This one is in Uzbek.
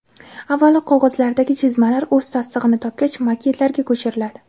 Avvalo qog‘ozlardagi chizmalar o‘z tasdig‘ini topgach maketlarga ko‘chiriladi.